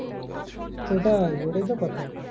সেটাই ওটাই তো কথা